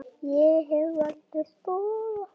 Ég hef aldrei þolað hann.